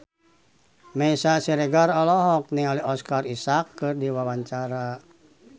Meisya Siregar olohok ningali Oscar Isaac keur diwawancara